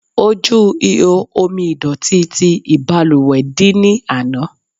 Ojú ihò omi ìdọ̀tí ti ìbalùwẹ̀ dí ní ana.